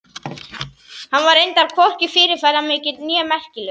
Hann var reyndar hvorki fyrirferðarmikill né merkilegur.